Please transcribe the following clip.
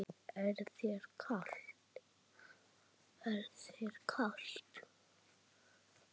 Er þér kalt?